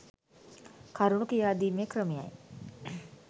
කරුණු කියාදීමේ ක්‍රමයයි